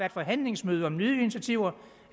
et forhandlingsmøde om nye initiativer